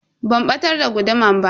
Ban batar da guduman ba.